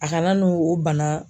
A kana n'o o bana